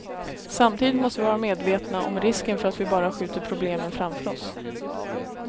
Samtidigt måste vi vara medvetna om risken för att vi bara skjuter problemen framför oss.